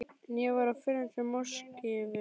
En ég var á förum til Moskvu.